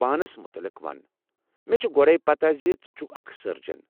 پانَس متعلِق ون، مےٚ چھِ گۄڈے پتہ زِ ژٕ چھُکھ اکھ سٔرجَن۔